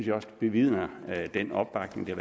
jeg også bevidnes af den opbakning der